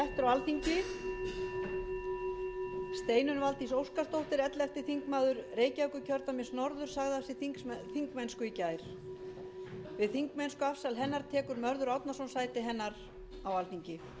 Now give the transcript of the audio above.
steinunn valdís óskarsdóttir ellefti þingmaður reykjavíkurkjördæmis norður sagði af sér þingmennsku í gær við þingmennskuafsali hennar tekur mörður árnason sæti hennar á alþingi